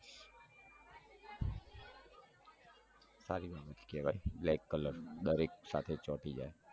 સારી બાત કેવાય black colour દરેક સાથે ચોંટી જાય